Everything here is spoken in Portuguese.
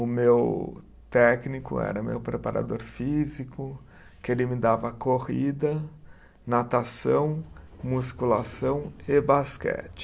O meu técnico era meu preparador físico, que ele me dava corrida, natação, musculação e basquete.